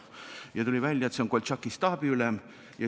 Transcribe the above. Ta teadis, et Kappel oli Koltšaki staabiülem.